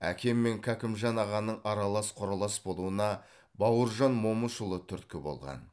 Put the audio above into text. әкем мен кәкімжан ағаның аралас құралас болуына бауыржан момышұлы түрткі болған